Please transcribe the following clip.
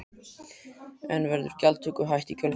En verður gjaldtöku hætt í kjölfarið?